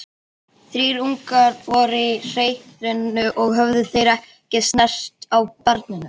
Þrír ungar voru í hreiðrinu og höfðu þeir ekki snert á barninu.